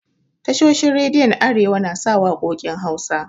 Tashoshin rediyon arewa na sa waƙokin Hausa.